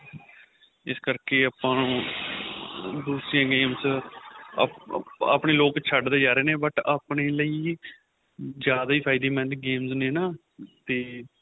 ਇਸ ਕਰਕੇ ਆਪਾ ਆਪਣੇਂ ਲੋਕ ਛੱਡਦੇ ਜਾਂ ਰਿਹੇ ਨੇ but ਆਪਣੇ ਲਈ ਜਿਆਦਾ ਹੀ ਫਾਇਦੇਮੰਦ games ਨੇ ਨਾ ਤੇ